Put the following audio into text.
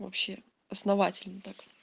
вообще основательно так